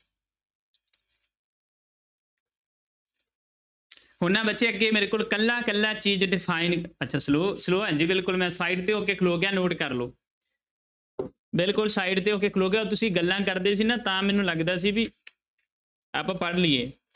ਹੁਣ ਨਾ ਬੱਚੇ ਅੱਗੇ ਮੇਰੇ ਕੋਲ ਇਕੱਲਾ ਇਕੱਲਾ ਚੀਜ਼ define ਅੱਛਾ slow slow ਹਾਂ ਜੀ ਬਿਲਕੁਲ ਮੈਂ side ਤੇ ਹੋ ਕੇ ਖਲੋ ਗਿਆ note ਕਰ ਲਓ ਬਿਲਕੁਲ side ਤੇ ਹੋ ਕੇ ਖਲੋ ਗਿਆ, ਤੁਸੀਂ ਗੱਲਾਂ ਕਰਦੇ ਸੀ ਨਾ ਤਾਂ ਮੈਨੂੰ ਲੱਗਦਾ ਸੀ ਵੀ ਆਪਾਂ ਪੜ੍ਹ ਲਈਏ।